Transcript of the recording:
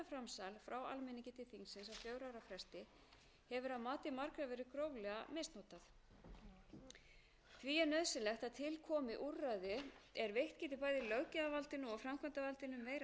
þingmanna krafist þjóðaratkvæðagreiðslu þótt ekki hafi komið til þeirrar kröfu í danska þinginu virðast áhrifin vera þau að löggjöf almennt er síður umdeild ég held líka að þetta